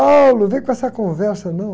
vem com essa conversa, não.